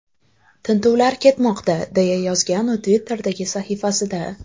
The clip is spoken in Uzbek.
Tintuvlar ketmoqda”, deya yozgan u Twitter’dagi sahifasida.